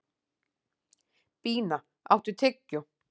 Bína, áttu tyggjó?